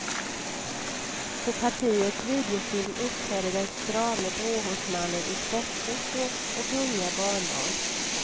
På partiets videofilm uppträder den strame gråhårsmannen i sportskjortor och gungar barnbarn.